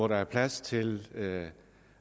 der er plads til